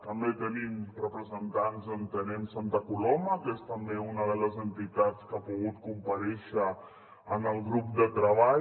també tenim representants d’entenem santa coloma que és també una de les entitats que ha pogut comparèixer en el grup de treball